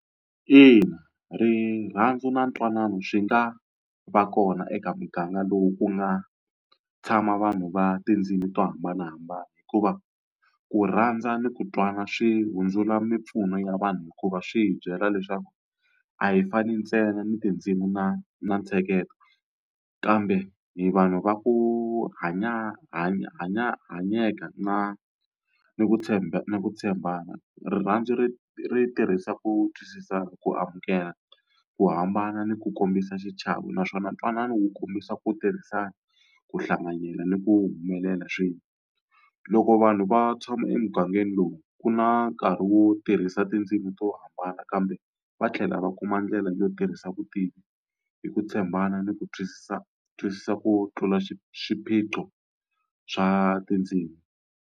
Ina rirhandzu na ntwanano swi nga va kona eka muganga lowu ku nga tshama vanhu va tindzimi to hambanahambana. Hikuva ku rhandza ni ku twana swi hundzula mimpfuno ya vanhu hikuva swi hi byela leswaku a hi fani ntsena ni tindzimi na na ntsheketo, kambe hi vanhu va ku hanyeka na ni ku na ku tshembana. Rirhandzu ri ri tirhisa ku twisisana, ku amukela, ku hambana, ni ku kombisa xichavo naswona ntwanano wu kombisa ku tirhisana, ku hlanganyela, ni ku humelela swin'we. Loko vanhu va tshama emugangeni lowu, ku na nkarhi wo tirhisa hisa tindzimi to hambana kambe va tlhela va kuma ndlela yo tirhisa vutivi hi ku tshembana ni ku twisisa twisisa ku tlula swiphiqo swa tindzimi.